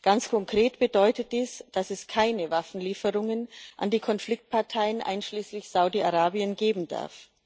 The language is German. Ganz konkret bedeutet dies, dass es keine Waffenlieferungen an die Konfliktparteien einschließlich Saudi Arabien geben darf.